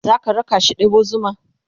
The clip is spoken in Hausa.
zaka rakashi ɗebo zuma?